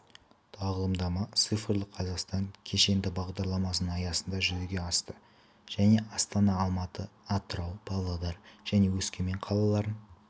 тағылымдама цифрлы қазақстан кешенді бағдарламасының аясында жүзеге асты және астана алматы атырау павлодар және өскемен қалаларын